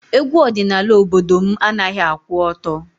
Egwu ọdịnala obodo managhị akwụ ọtọ.